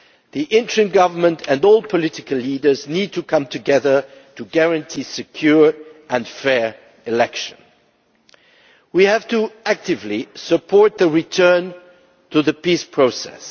The interim Government and all political leaders need to come together to guarantee secure and fair elections. We have to support actively the return to the peace process.